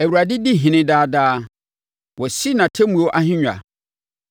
Awurade di ɔhene daa daa; wasi nʼatemmuo ahennwa.